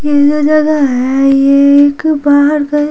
ये जो जगह है ये एक बाहर का--